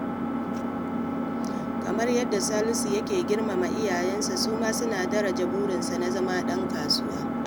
Kamar yadda Salisu yake girmama iyayensa, su ma suna daraja burinsa na zama ɗan kasuwa.